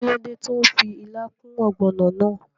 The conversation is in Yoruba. Kíló dé tó n fi ilá kún ògbònò náà?